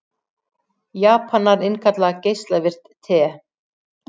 Japanar innkalla geislavirkt te